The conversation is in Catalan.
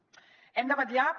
hem de vetllar per